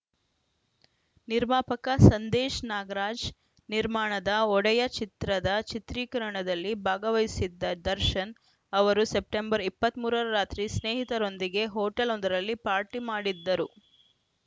ನಿರ್ಮಾಪಕ ಸಂದೇಶ್‌ ನಾಗರಾಜ್‌ ನಿರ್ಮಾಣದ ಒಡೆಯ ಚಿತ್ರದ ಚಿತ್ರೀಕರಣದಲ್ಲಿ ಭಾಗವಹಿಸಿದ್ದ ದರ್ಶನ್‌ ಅವರು ಸೆಪ್ಟೆಂಬರ್ ಇಪ್ಪತ್ತ್ ಮೂರ ರ ರಾತ್ರಿ ಸ್ನೇಹಿತರೊಂದಿಗೆ ಹೊಟೇಲ್‌ವೊಂದರಲ್ಲಿ ಪಾರ್ಟಿ ಮಾಡಿದ್ದರು